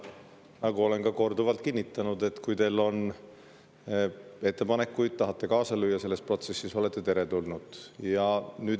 Nagu olen ka korduvalt öelnud, kui teil on ettepanekuid ja te tahate kaasa lüüa selles protsessis, siis te olete teretulnud.